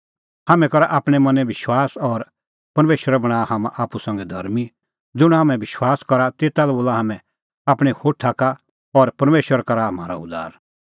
हाम्हैं करा आपणैं मनैं विश्वास और परमेशर बणांआ हाम्हां आप्पू संघै धर्मीं ज़ुंण हाम्हैं विश्वास करा तेता बोला हाम्हैं आपणैं होठा का और परमेशर करा म्हारअ उद्धार